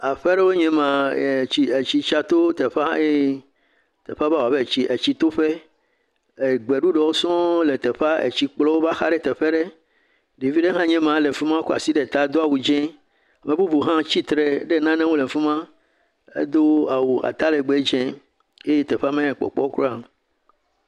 Aƒe aɖewo nye ma etsi etsi tsa to teƒe eye teƒea va wɔ abe etsi etsitoƒe e gbeɖɔɖɔwo sɔŋ le teƒea etsi kplɔwo va xa ɖe teƒe aɖe. Ɖevi aɖe hãe nye ma le fi ma kɔ asi ɖe ta do awu dzi. Ame bubu hã tsitre ɖe nane ŋu e fi ma edo awu atalegbe dze eye teƒea menya le kpɔkpɔm kura o.